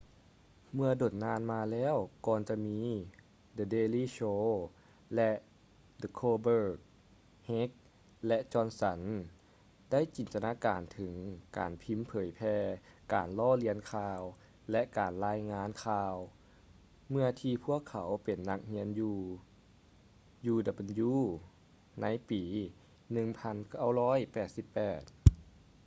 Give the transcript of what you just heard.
ເມື່ອດົນນານມາແລ້ວກ່ອນຈະມີ the daily show ແລະ the colbert heck ແລະ johnson ໄດ້ຈິນຕະນາການເຖິງການພິມເຜີຍແຜ່ການລໍ້ລຽນຂ່າວ ແລະ ການລາຍງານຂ່າວ ເມື່ອທີ່ພວກເຂົາເປັນນັກຮຽນຢູ່ uw ໃນປີ 1988